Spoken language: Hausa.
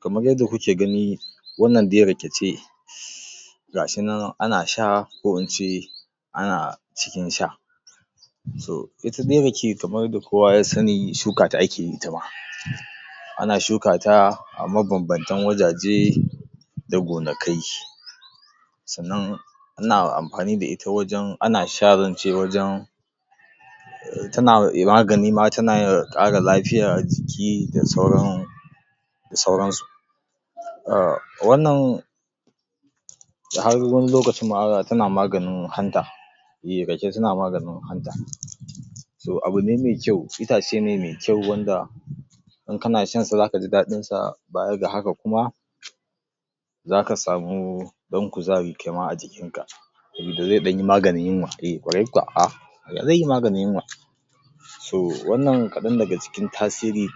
Kamar yadda kuke gani wannan dai rake ce ga shi nan ana sha, ko ince, ana ci da sha. To ita dai rake kamar yadda kowa ya sani shuka ake itama, ana shuka ta a mabanbantan wurare, da gonakai, sannan, ana amfani da ita wajen, ana sha zan ce wajen tana magani ma, tana ƙara lafiyar jiki, da sauran da sauransu. Ahh wannan har wani lokacin ma tana maganin hanta. ehh rake tana maganin hanta, So abune mai kyau, itace ne mai kyau wanda in kana shan sa za ka ji daɗinsa baya ga haka kuma, zaka samu ɗan kuzari kaima a jikinka. tunda zai ɗanyi maganin yunwa, eh ƙwarai kuwa, ah! Zai yi maganin yunwa, so wannan kaɗan daga cikin tasiri,